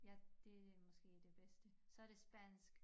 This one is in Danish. Ja det måske det bedste. Så det spansk